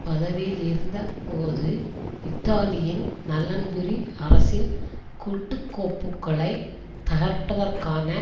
பதவியிலிருந்த போது இத்தாலியின் நலன்புரி அரசின் குட்டுக் கோப்புக்களை தகர்ப்பதற்கான